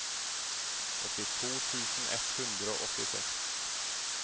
åttito tusen ett hundre og åttiseks